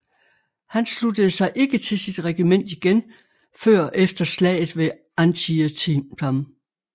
Han sluttede sig ikke til sit regiment igen før efter slaget ved Antietam